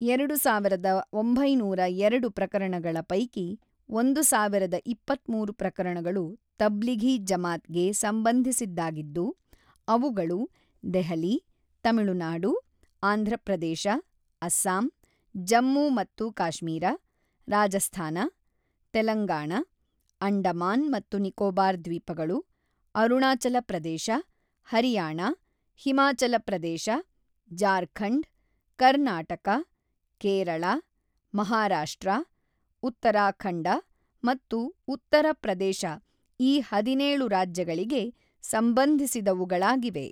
ಎರಡುಸಾವಿರದ ಒಂಬೈನೂರ ಎರಡು ಪ್ರಕರಣಗಳ ಪೈಕಿ ಒಂದು ಸಾವಿರದ ಇಪತ್ತ್ಮೂರು ಪ್ರಕರಣಗಳು ತಬ್ಲಿಘಿ ಜಮಾತ್ ಗೆ ಸಂಬಂಧಿಸಿದ್ದಾಗಿದ್ದು, ಅವುಗಳು ದೆಹಲಿ, ತಮಿಳುನಾಡು, ಆಂಧ್ರಪ್ರದೇಶ, ಅಸ್ಸಾಂ, ಜಮ್ಮು ಮತ್ತು ಕಾಶ್ಮೀರ, ರಾಜಸ್ತಾನ, ತೆಲಂಗಾಣ, ಅಂಡಮಾನ್ ಮತ್ತು ನಿಕೋಬಾರ್ ದ್ವೀಪಗಳು, ಅರುಣಾಚಲಪ್ರದೇಶ, ಹರಿಯಾಣ, ಹಿಮಾಚಲಪ್ರದೇಶ, ಜಾರ್ಖಂಡ್, ಕರ್ನಾಟಕ, ಕೇರಳ, ಮಹಾರಾಷ್ಟ್ರ, ಉತ್ತರಾಖಂಡ ಮತ್ತು ಉತ್ತರ ಪ್ರದೇಶ ಈ ಹದಿನೇಳು ರಾಜ್ಯಗಳಿಗೆ ಸಂಬಂಧಿಸಿದವುಗಳಾಗಿವೆ.